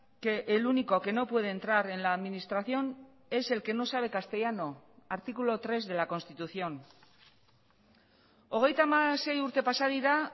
que el único que no puede entrar en la administración es el que no sabe castellano artículo tres de la constitución hogeita hamasei urte pasa dira